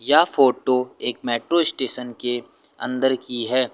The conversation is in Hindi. यह फोटो एक मेट्रो स्टेशन के अंदर की है।